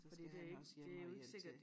Så skal han også hjem og hjælpe til